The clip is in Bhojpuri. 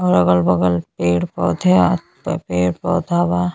और अगल-बगल पेड़ पौधया पर पेड़ पौधा बा।